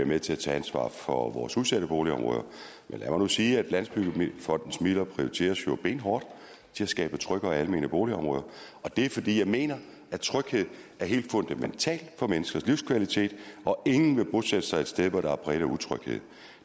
med til at tage ansvar for vores udsatte boligområder men lad mig nu sige at landsbyggefondens midler jo prioriteres benhårdt til at skabe trygge og almene boligområder og det er fordi jeg mener at tryghed er helt fundamentalt for menneskers livskvalitet og ingen vil bosætte sig et sted der er præget af utryghed